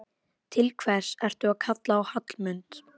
Til hvers ertu að kalla á Hallmund?